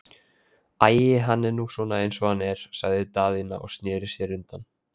Æi, hann er nú svona eins og hann er, sagði Daðína og sneri sér undan.